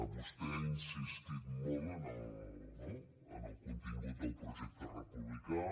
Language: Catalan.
vostè ha insistit molt no en el contingut del projecte republicà